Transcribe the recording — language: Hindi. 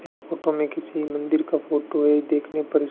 इस फोटो में किसी मंदिर का फोटो है। देखने पर इस--